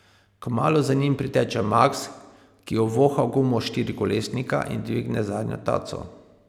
Kmalu za njim priteče Maks, ki ovoha gumo štirikolesnika in dvigne zadnjo taco.